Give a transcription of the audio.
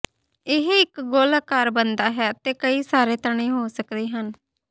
ਇਹ ਇੱਕ ਗੋਲ ਅਕਾਰ ਬਣਦਾ ਹੈ ਅਤੇ ਕਈ ਸਾਰੇ ਤਣੇ ਹੋ ਸਕਦੇ ਹਨ